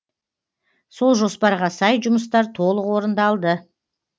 сол жоспарға сай жұмыстар толық орындалды